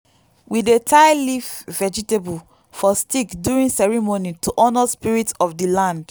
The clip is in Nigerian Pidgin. we dey tie leaf vegetable for stick during ceremony to honour spirits of the land.